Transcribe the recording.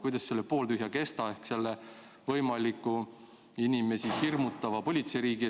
Kuidas selle pooltühja kestaga jääb?